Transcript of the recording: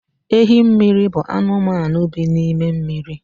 Ehimmiri bụ anụmanụ bi n’ime mmiri